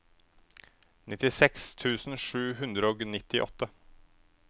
nittiseks tusen sju hundre og nittiåtte